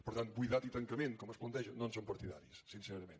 per tant buidat i tancament com es planteja no en som partidaris sincerament